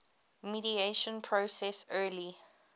mediation process early